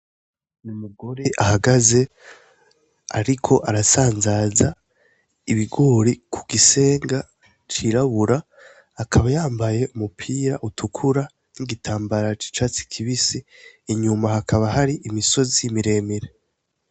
Umugore ahagaze ariko arasanzaza ibigori ku gisenga c'irabura, akaba yambaye umupira utukura n'igitambara c'icatsi kibisi, inyuma hakaba hari imisozi miremire.